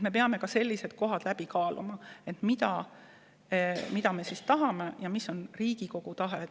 Me peame ka sellised olukorrad läbi kaaluma ja otsustama, mida me tahame, mis on Riigikogu tahe.